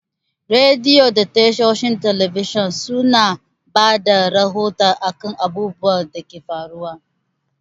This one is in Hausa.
Rediyo da tashoshin talabijan su na bada rahoto a kan abubuwan da ke faruwa